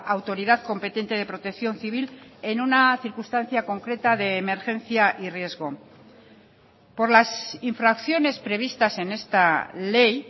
autoridad competente de protección civil en una circunstancia concreta de emergencia y riesgo por las infracciones previstas en esta ley